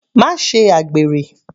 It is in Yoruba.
Má ṣe àgbèrè.